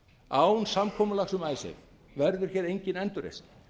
án samkomulags um icesave verður hér engin endurreisn